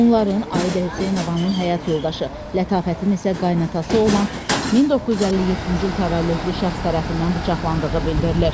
Onların, Ayidə Hüseynovanın həyat yoldaşı, Lətafətin isə qaynatası olan 1957-ci il təvəllüdlü şəxs tərəfindən bıçaqlandığı bildirilir.